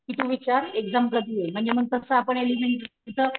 कि तू विचार एक्साम कधीये म्हणजे मग तस आपण एलिमेंटरी च,